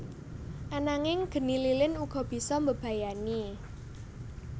Ananging geni lilin uga bisa mbebayani